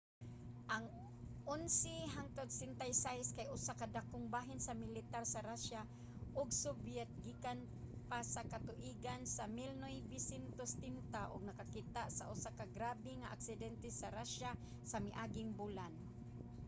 ang il-76 kay usa ka dakong bahin sa militar sa russia ug soviet gikan pa sa katuigan sa 1970 ug nakakita na usa ka grabe nga aksidente sa russia sa miaging bulan